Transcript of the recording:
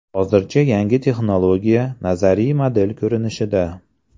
Hozircha yangi texnologiya nazariy model ko‘rinishida.